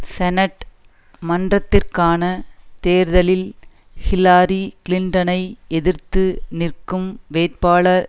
senate மன்றத்திற்கான தேர்தலில் Hillary கிளின்டனை எதிர்த்து நிற்கும் வேட்பாளர்